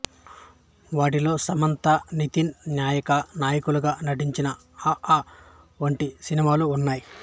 వాటిలో సమంత నితిన్ నాయికా నాయకులుగా నటించిన అ ఆ వంటి సినిమాలు ఉన్నాయి